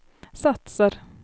satsar